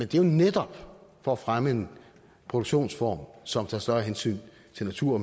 det er jo netop for at fremme en produktionsform som tager større hensyn til natur